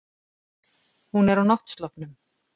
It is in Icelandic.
Hún er á náttsloppnum.